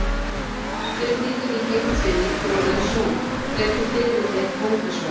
Spurningin í heild sinni hljóðaði svona: Hvernig fiðrildi er kóngasvarmi?